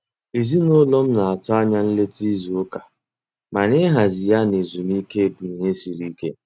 Ezinụlọ m na-atụ anya nleta izu ụka, mana ịhazi ya na ezumike bụ ihe siri ike.